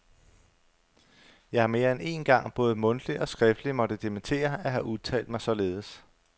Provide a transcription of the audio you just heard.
Jeg har mere end én gang både mundtligt og skriftligt måtte dementere at have udtalt mig således.